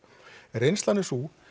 reynslan er sú